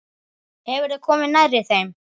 Hefurðu komið nærri þeim?